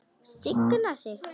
Signa sig?